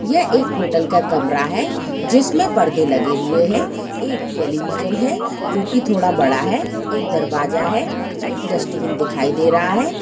ये एक होटल का कमरा है जिसमें पड़दे लगे हुए है एक टेलीविजन है जोकि थोड़ा बड़ा है एक दरवाजा है एक डस्टबिन दिखाई दे रहा है।